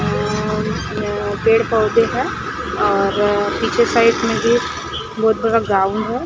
अ अ पेड़ पौधे है और पीछे साइड में भी बहोत बड़ा ग्राउंड है।